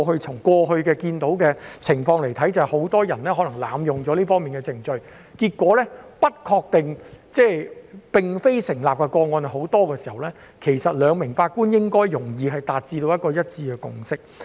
從過去看到的情況來說，很多人濫用這方面的程序，而結果上訴不成功的個案十分多，其實兩名法官應該容易達成一致共識。